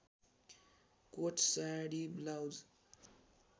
coat sari blouse